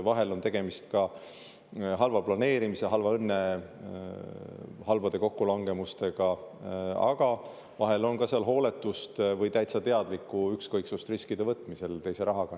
Vahel on tegemist halva planeerimise, halva õnne, halbade kokkulangevustega, aga vahel on seal ka hooletust või täitsa teadlikku ükskõiksust riskide võtmisel teise rahaga.